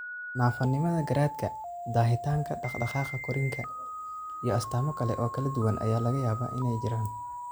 Naafanimada garaadka, daahitaanka dhaqdhaqaaqa korriinka, iyo astaamo kale oo kala duwan ayaa laga yaabaa inay jiraan.